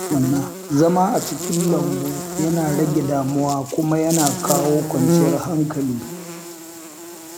Zama a cikin lambu yana rage damuwa kuma yana kawo kwanciyar hankali.